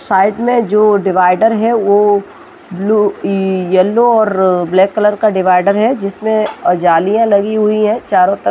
side में जो divider है वो ब्लू येल्लो और ब्लैक कलर का डिवाइडर